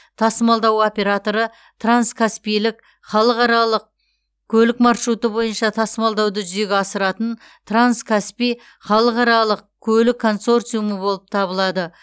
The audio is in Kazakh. тасымалдау операторы транскаспийлік халықаралық көлік маршруты бойынша тасымалдауды жүзеге асыратын транскаспий халықаралық көлік консорциумы болып табылады